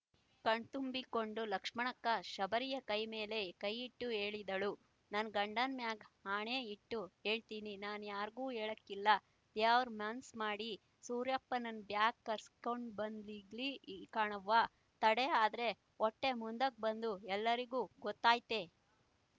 ಕಣ್ತುಂಬಿಕೊಂಡ ಲಕ್ಷ್ಮಕ್ಕ ಶಬರಿಯ ಕೈಮೇಲೆ ಕೈಯ್ಯಿಟ್ಟು ಹೇಳಿದಳು ನನ್ ಗಂಡನ್ ಮ್ಯಾಗೆ ಆಣೆ ಇಟ್ ಯೇಳ್ತೀನಿ ನಾನ್ ಯಾರ್ಗೂ ಯೇಳಾಕಿಲ್ಲ ದ್ಯಾವ್ರ್ ಮನ್ಸ್ ಮಾಡಿ ಸೂರ್ಯಪ್ಪನ್ನ ಬ್ಯಾಗ್ ಕರೆಸ್ ಕೊಂಡು ಬಂದ್ ಇರ್ಲಿ ಕಣವ್ವ ತಡ ಆದ್ರೆ ವೊಟ್ಟೆ ಮುಂದಕ್ ಬಂದು ಎಲ್ರಿಗೂ ಗೊತ್ತಾಗ್ತೈತೆ